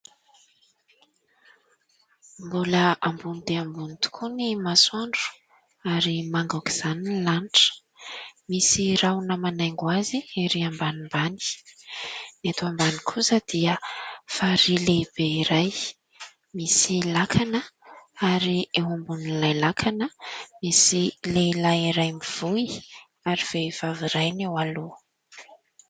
Mbola ambony dia ambony tokoa ny masoandro ary manga aoka izany ny lanitra, misy rahona manaingo azy erỳ ambanimbany. Eto ambany kosa dia farihy lehibe iray misy lakana ary eo ambonin'lay lakana misy lehilahy iray mivoy ary vehivavy iray ny eo aloha.